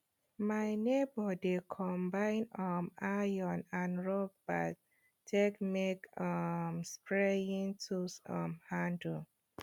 my neibor dey combine um iron and rubber take make um spraying tool um handle